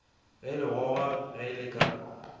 ge legogwa ge le ka